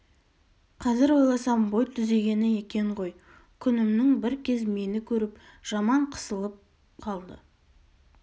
қазір ойласам бой түзегені екен ғой күнімнің бір кез мені көріп жаман қысылып қалды